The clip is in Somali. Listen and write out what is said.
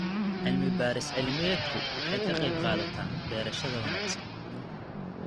Cilmi-baaris cilmiyeedku waxay ka qaybqaadataa beerashada wanaagsan.